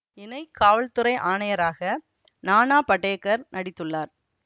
இணை காவல்துறை ஆணையராக நானா படேகர் நடித்துள்ளார்